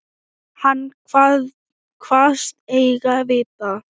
Hann kvaðst eigi vita.